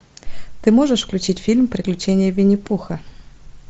ты можешь включить фильм приключение винни пуха